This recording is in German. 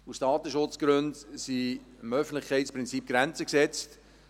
Aus Datenschutzgründen sind dem Öffentlichkeitsprinzip Grenzen gesetzt.